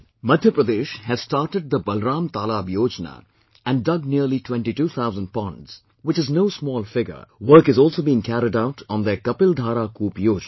Madhya Pradesh has started the 'Balram Talaab Yojana' and dug nearly 22,000 ponds, which is no small figure, work is also being carried out on their 'Kapil Dhara Koop Yojana